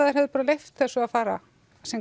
þeir hefðu bara leyft þessu að fara sinn